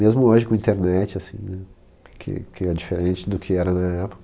Mesmo hoje, com a internet, assim, que que é diferente do que era na época.